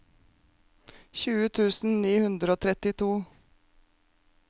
tjue tusen ni hundre og trettito